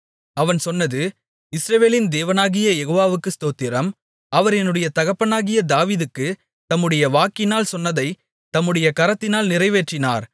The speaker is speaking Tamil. அவன் சொன்னது இஸ்ரவேலின் தேவனாகிய யெகோவாவுக்கு ஸ்தோத்திரம் அவர் என்னுடைய தகப்பனாகிய தாவீதுக்குத் தம்முடைய வாக்கினால் சொன்னதைத் தம்முடைய கரத்தினால் நிறைவேற்றினார்